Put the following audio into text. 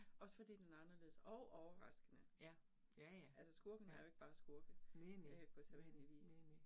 Også fordi den er anderledes og overraskende. Altså skurkene er jo ikke bare skurke øh på sædvanelig vis